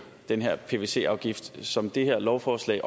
den her pvc afgift som det her lovforslag